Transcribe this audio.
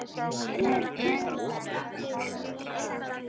Hverjir eru þar í stjórn?